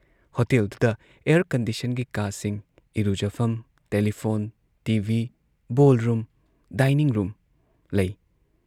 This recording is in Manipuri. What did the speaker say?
ꯍꯣꯇꯦꯜꯗꯨꯗ ꯑꯦꯌꯔ ꯀꯟꯗꯤꯁꯟꯒꯤ ꯀꯥꯁꯤꯡ ꯏꯔꯨꯖꯐꯝ, telephone, TV, ballroom, dining room ꯂꯩ ꯫